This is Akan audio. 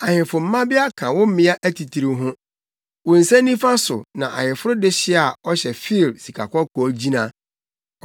Ahemfo mmabea ka wo mmea atitiriw ho; wo nsa nifa so na ayeforo dehye a ɔhyɛ Ofir sikakɔkɔɔ gyina.